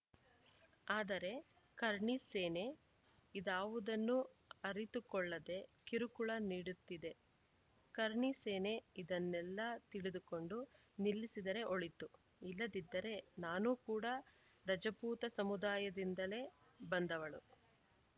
ಆದರೆ ಕರ್ಣಿ ಸೇನೆ ಇದಾವುದನ್ನು ಅರಿತುಕೊಳ್ಳದೇ ಕಿರುಕುಳ ನೀಡುತ್ತಿದೆ ಕರ್ಣಿ ಸೇನೆ ಇದನ್ನೆಲ್ಲ ತಿಳಿದುಕೊಂಡು ನಿಲ್ಲಿಸಿದರೆ ಒಳಿತು ಇಲ್ಲದಿದ್ದರೆ ನಾನೂ ಕೂಡ ರಜಪೂತ ಸಮುದಾಯದಿಂದಲೇ ಬಂದವಳು